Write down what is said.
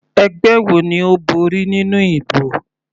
Ẹgbẹ́ wo ni Ó borí nínú ìbò?